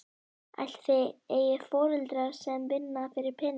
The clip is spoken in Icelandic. Ætli þið eigið ekki foreldra sem vinna fyrir peningum?